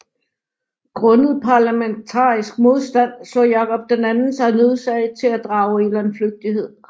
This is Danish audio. Grundet parlamentarisk modstand så Jakob II sig nødsaget til at drage i landflygtighed